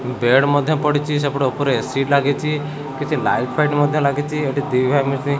bed ମଧ୍ଯ ପଡିଚି ସେପଟେ ଉପରେ ଏସି ଲାଗିଚି କିଛି ଲାଇଟ୍ ଫାଇଟ୍ ମଧ୍ଯ ଲାଗିଚି ଏଠି ଦୁଇଭାଇ ମିଶି --